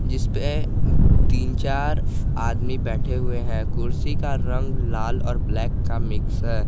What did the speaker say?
जिस पे तीन चार आदमी बैठे हुए हैं कुर्सी का रंग लाल और ब्लैक का मिक्स है।